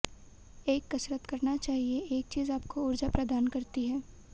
एक कसरत करना चाहिए एक चीज आपको ऊर्जा प्रदान करती है